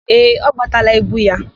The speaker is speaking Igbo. Ee, ọ gbataala ibu ya.